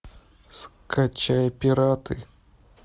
скачай пираты